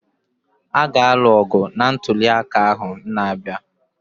A ga-alụ ọgụ na ntụliaka ahụ n'abịa